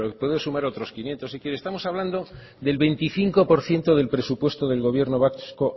pero puedo sumar otros quinientos si quiere estamos hablando del veinticinco por ciento del presupuesto del gobierno vasco